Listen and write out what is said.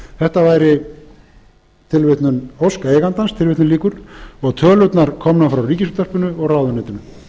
þetta væri ósk eigandans og tölurnar komnar frá ríkisútvarpinu og ráðuneytinu